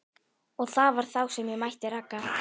Og það var þá sem ég mætti Ragnari.